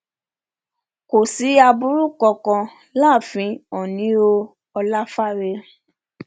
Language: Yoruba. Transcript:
kò sí aburú kankan láàfin oòní o ọláfáre